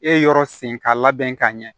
E yɔrɔ sen ka labɛn ka ɲɛ